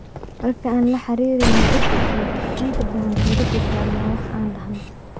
Marka aan la xiriireyno dadka kale, waxaan inta badan diiradda saarna waxa aan dhahno.